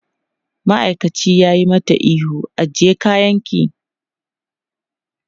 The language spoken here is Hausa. Ma'aikacin ya yi mata ihu, ajiye kayanki!